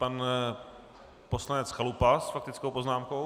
Pan poslanec Chalupa s faktickou poznámkou.